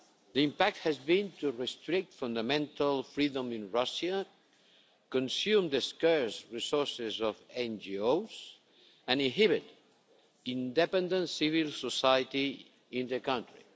The impact has been to restrict fundamental freedom in Russia, consume the scarce resources of NGOs, and inhibit independent civil society in the country.